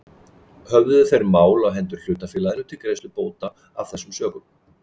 Höfðuðu þeir mál á hendur hlutafélaginu til greiðslu bóta af þessum sökum.